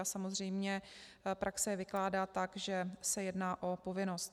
A samozřejmě praxe je vykládá tak, že se jedná o povinnost.